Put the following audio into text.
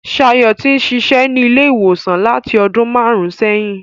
Ṣayọ̀ ti ń ṣiṣẹ́ ní ilé ìwòsàn láti ọdún màrùn-ún sẹ́yìn.